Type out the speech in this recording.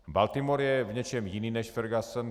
Baltimore je v něčem jiný než Ferguson.